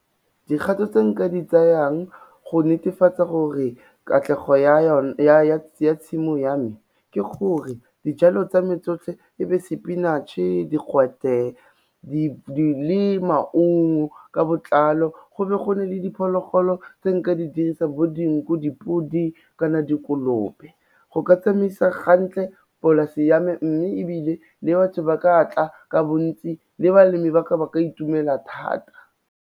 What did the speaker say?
Dikgato tse nka di tsayang go netefatsa gore katlego ya tshimo ya me ke gore dijalo tsa me tsotlhe e be sepinatšhe, digwete, le maungo ka botlalo, go be gonne le diphologolo tse nka di dirisang, bo dinku, dipodi kana dikolobe, go ka tsamaisa gantle polase ya me, mme ebile le batho ba ka tla ka bontsi le balemi ba ka, ba ka itumela thata.